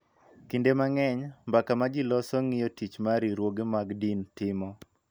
Kinde mang�eny, mbaka ma ji loso ng�iyo tich ma riwruoge mag din timo .